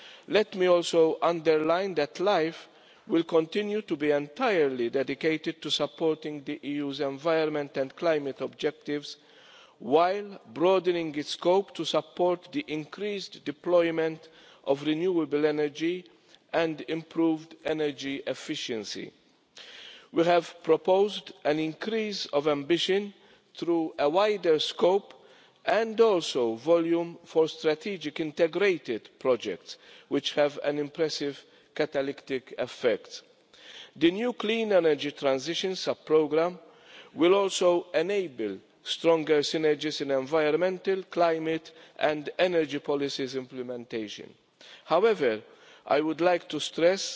Let me also emphasise that LIFE will continue to be entirely dedicated to supporting the EU's environment and climate objectives, while broadening its scope to support the increased deployment of renewable energy and improved energy efficiency. We have proposed an increase of ambition through wider scope and also through volume for strategic integrated projects, which have an impressive catalytic effect. The new Clean Energy Transitions sub-programme will also enable stronger synergies in the implementation of environmental, climate and energy policies. However, I would like to stress